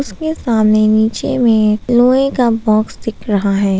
उसके सामने नीचे में लोहे का बॉक्स दिख रहा है।